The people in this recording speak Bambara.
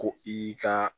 Ko i ka